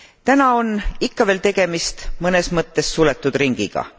Täna on ikka veel tegemist mõnes mõttes suletud ringiga.